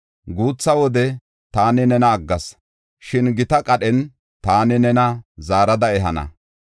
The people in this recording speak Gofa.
“Guutha wode taani nena aggas, shin gita qadhen taani nena zaarada ehana.